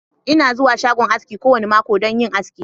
Ina zuwa shagon aski kowane mako don yin aski.